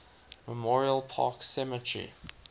memorial park cemetery